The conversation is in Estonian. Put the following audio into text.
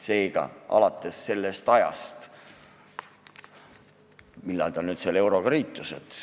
Seega, alates sellest ajast, mil Eesti euroga liitus.